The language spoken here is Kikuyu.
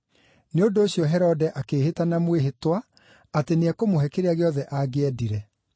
Nĩ ũndũ ũcio Herode akĩĩhĩta na mwĩhĩtwa atĩ nĩekũmũhe kĩrĩa gĩothe angĩendire.